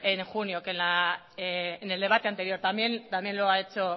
en junio en el debate anterior también lo ha hecho